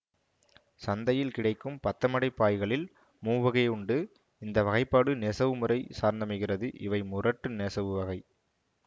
சந்தையில் கிடைக்கும் பத்தமடை பாய்களில் மூவகையுண்டு இந்த வகைபாடு நெசவுமுறை சார்ந்தமைகிறதுஇவை முரட்டு நெசவு வகை